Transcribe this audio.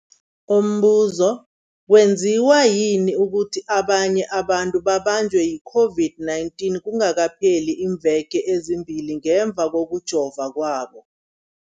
Umbuzo, kwenziwa yini ukuthi abanye abantu babanjwe yi-COVID-19 kungakapheli iimveke ezimbili ngemva kokujova kwabo?